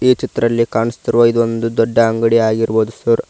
ಈ ಚಿತ್ರಲ್ಲಿ ಕಾಣಿಸ್ತಿರುವ ಇದೊಂದು ದೊಡ್ಡ ಅಂಗಡಿ ಆಗಿರವುದ ಸರ್ .